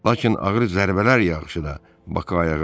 Lakin ağır zərbələr yağışı da Bakı ayağa qaldıra bilmədi.